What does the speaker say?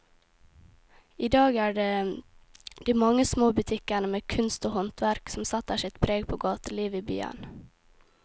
I dag er det de mange små butikkene med kunst og håndverk som setter sitt preg på gatelivet i byen.